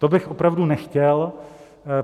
To bych opravdu nechtěl.